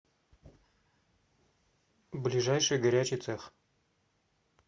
ближайший горячий цех